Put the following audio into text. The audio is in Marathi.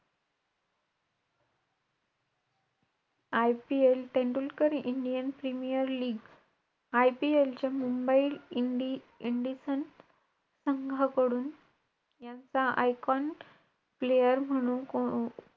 IPL Tendulkar Indian premier league, IPL च्या मुंबई इंडि~ इंडिसन संघाकडून यांचा icon player म्हणून,